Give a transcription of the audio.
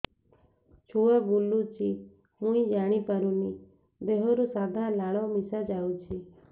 ଛୁଆ ବୁଲୁଚି ମୁଇ ଜାଣିପାରୁନି ଦେହରୁ ସାଧା ଲାଳ ମିଶା ଯାଉଚି